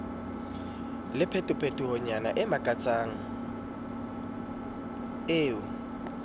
le phetohonyana e makamakatsang eo